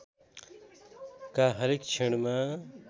का हरेक क्षणमा